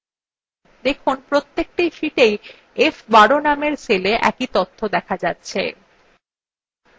দেখুন প্রত্যেকটি sheetswe f12 নামের cellwe একই তথ্য আছে